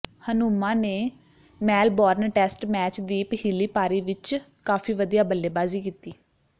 ਹਨੁਮਾ ਨੇ Melbourne test match ਦੀਪ ਹਿਲੀ ਪਾਰੀ ਵਿਚ ਕਾਫ਼ੀ ਵਧੀਆ ਬੱਲੇਬਾਜ਼ੀ ਕੀਤੀ